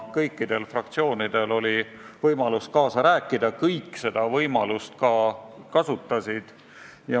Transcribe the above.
Kõikidel fraktsioonidel oli võimalus kaasa rääkida, kõik seda võimalust ka kasutasid.